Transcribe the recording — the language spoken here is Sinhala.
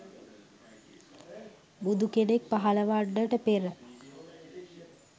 බුදු කෙනෙක් පහළ වන්නට පෙර